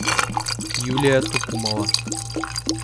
юлия тукумова